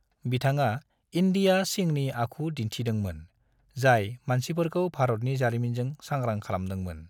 बिथाङा इंदिया सिंहनि आखु दिन्थिदों मोन, जाय मानसिफोरखौ भारतनि जारिमिनजों सांग्रां खालामदों मोन।